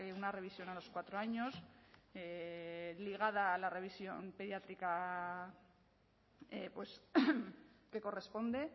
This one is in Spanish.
una revisión a los cuatro años ligada a la revisión pediátrica que corresponde